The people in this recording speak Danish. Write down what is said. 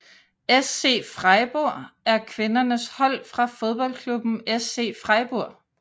SC Freiburg er kvindernes hold fra fodboldklubben SC Freiburg